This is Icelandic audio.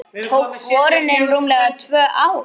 Tók borunin rúmlega tvö ár.